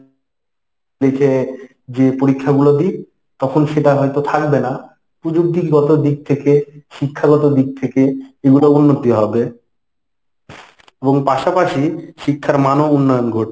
লিখে যে পরীক্ষাগুলো দিই, তখন সেটা হয়ত থাকবে না। প্রযুক্তিগত দিক থেকে, শিক্ষাগত দিক থেকে এগুলোর উন্নতি হবে এবং পাশাপাশি শিক্ষার মানও উন্নয়ন ঘটবে।